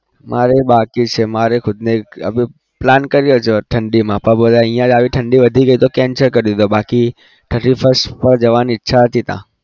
મારે બાકી છે મારે ખુદને plan કરી રહ્યો છું ઠંડીમાં પણ અહિયાં જ આવી ઠંડી વધી ગઈ તો cancel કરી દીધો બાકી thirty first પર જવાની ઈચ્છા હતી ત્યાં.